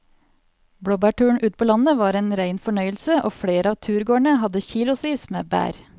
Blåbærturen ute på landet var en rein fornøyelse og flere av turgåerene hadde kilosvis med bær.